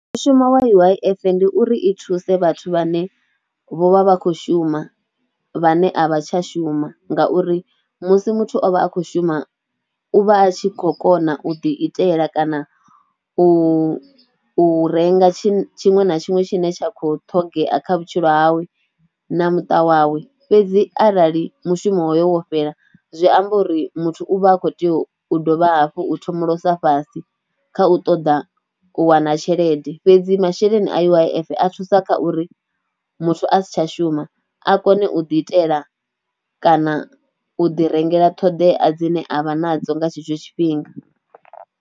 Mushuma wa U_I_F ndi uri i thuse vhathu vhane vho vha vha khou shuma vhane a vha tsha shuma ngauri musi muthu o vha a khou shuma u vha a tshi khou kona u ḓi itela kana u renga tshi tshiṅwe na tshiṅwe tshine tsha khou ṱhogomela kha vhutshilo hawe na muṱa wawe fhedzi, arali mushumo wo fhela zwi amba uri muthu u vha a khou tea u dovha hafhu u thomolosa fhasi kha u ṱoḓa u wana tshelede fhedzi, masheleni a U_I_F a thusa kha uri muthu a si tsha shuma a kone u ḓi itela kana u ḓi rengela ṱhoḓea dzine a vha nadzo nga tshetsho tshifhinga.